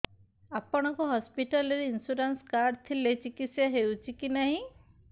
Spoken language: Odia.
ଆପଣଙ୍କ ହସ୍ପିଟାଲ ରେ ଇନ୍ସୁରାନ୍ସ କାର୍ଡ ଥିଲେ ଚିକିତ୍ସା ହେଉଛି କି ନାଇଁ